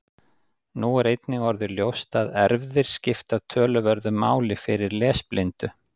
Nú er einnig orðið ljóst að erfðir skipta töluverðu máli fyrir lesblindu.